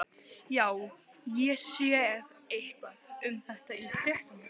Já, ég sá eitthvað um þetta í fréttunum.